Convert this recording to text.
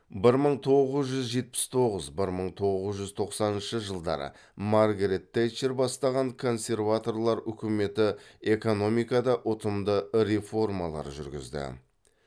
бір мың тоғыз жүз жетпіс тоғыз бір мың тоғыз жүз тоқсаныншы жылдары маргарет тэтчер бастаған консерваторлар үкіметі экономикада ұтымды реформалар жүргізді